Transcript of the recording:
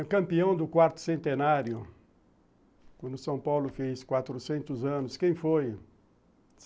O campeão do quarto centenário, quando São Paulo fez quatrocentos anos, quem foi?